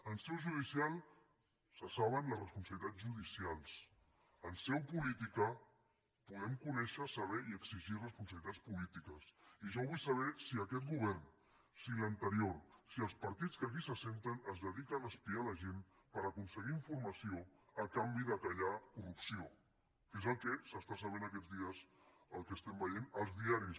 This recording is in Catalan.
en seu judicial se saben les responsabilitats judicials en seu política podem conèixer saber i exigir responsabilitats polítiques i jo vull saber si aquest govern si l’anterior si els partits que aquí s’asseuen es dediquen a espiar la gent per aconseguir informació a canvi de callar corrupció que és el que s’està sabent aquest dies el que estem veient als diaris